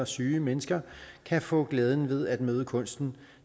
syge mennesker kan få glæden ved at møde kunsten